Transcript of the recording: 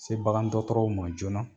Se bagandɔgɔtɔrɔw ma joona.